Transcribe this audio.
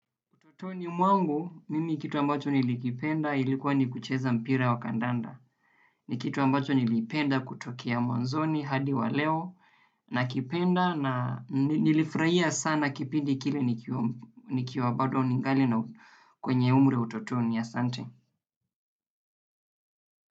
Utotoni mwangu, mimi kitu ambacho nilikipenda ilikuwa ni kucheza mpira wa kandanda. Ni kitu ambacho nilipenda kutokea mwanzoni hadi wa leo nakipenda na nilifurahia sana kipindi kile nikiwa nikiwa bado ningali na kwenye umri wa utotoni asante.